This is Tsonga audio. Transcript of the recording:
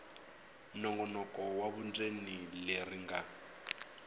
nongonoko wa vundzeni leri nga